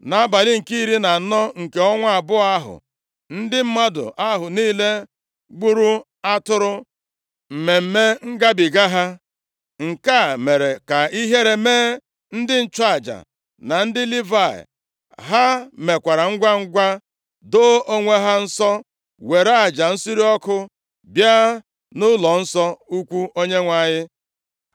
Nʼabalị nke iri na anọ nke ọnwa abụọ ahụ, ndị mmadụ ahụ niile gburu atụrụ Mmemme Ngabiga ha. Nke a mere ka ihere mee ndị nchụaja na ndị Livayị. Ha mekwara ngwangwa doo onwe ha nsọ were aja nsure ọkụ bịa nʼụlọnsọ ukwu Onyenwe anyị.